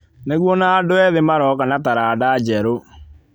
Nĩguo na andũ ethĩ maroka na taranda njerũ.